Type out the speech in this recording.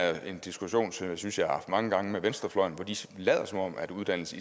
er en diskussion som jeg synes jeg har haft mange gange med venstrefløjen hvor de lader som om at uddannelse